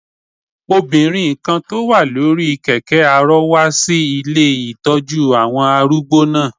Obìnrin kan tó wà lórí kẹ̀kẹ́ arọ wá sí ilé ìtọ́jú àwọn arúgbó náà